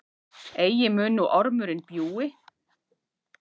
Eigi mun nú ormurinn bjúgi,